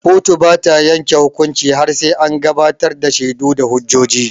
Kotu bata yanke hukunci har sai an gabatar da shaidu da hujjoji.